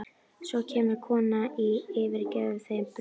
Svo kemur konan og gefur þeim brauð.